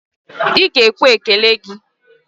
Ị ga-ekwe ekele gị!